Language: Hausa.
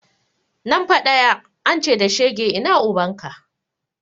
Nan fa ɗaya, an ce da shege ina ubanka?